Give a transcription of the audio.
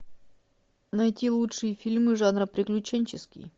найти лучшие фильмы жанра приключенческий